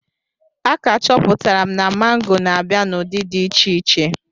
A ka chọpụtara m na mango na-abịa n'ụdị dị iche iche.